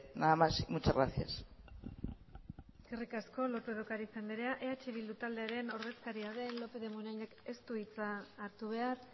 nada más muchas gracias eskerrik asko lópez de ocariz anderea eh bildu taldearen ordezkaria den lópez de munainek ez du hitza hartu behar